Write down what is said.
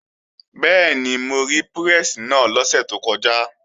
Bẹ́ẹ̀ni, mo rí pírẹ́sì náà lọ́sẹ̀ tó kọjá